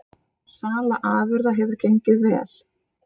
Sala afurða hefur gengið vel